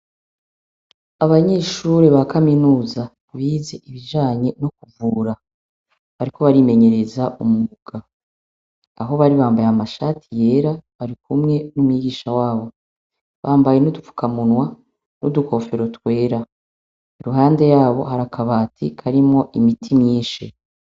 Abanyeshure ba Kaminuza bize ibijanye no kuvura bariko barimenyereza umwuga. Aho bari bambaye amashati yera bari kumwe n'umwigisha wabo. Bambaye n'udupfukamunwa n'udukofero twera. Iruhande yabo hari akabati karimwo imiti myinshi.